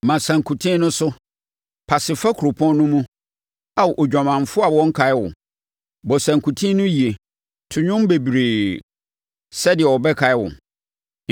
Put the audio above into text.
“Ma sankuten no so, pase fa kuropɔn no mu, Ao odwamanfoɔ a wɔnnkae wo; bɔ sankuten no yie, to nnwom bebree, sɛdeɛ wɔbɛkae wo.”